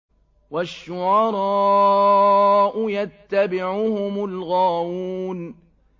وَالشُّعَرَاءُ يَتَّبِعُهُمُ الْغَاوُونَ